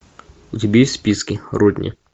у тебя есть в списке родни